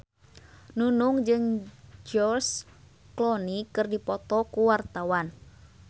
Nunung jeung George Clooney keur dipoto ku wartawan